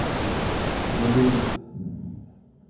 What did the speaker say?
голливуд